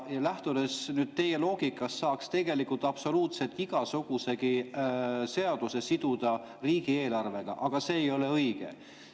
Lähtudes teie loogikast saaks tegelikult absoluutselt igasuguse seaduseelnõu siduda riigieelarvega, aga see ei ole õige.